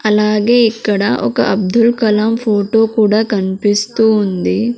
అలాగే ఇక్కడ ఒక అబ్దుల్ కలాం ఫోటో కూడా కన్పిస్తూ ఉంది.